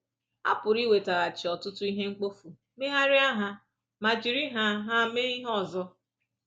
A pụrụ iwetaghachi ọtụtụ ihe mkpofu, megharịa ha ma jiri ha ha mee ihe ọzọ…